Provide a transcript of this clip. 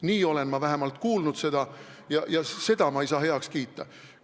Nii olen ma vähemalt kuulnud ja ma ei saa seda heaks kiita.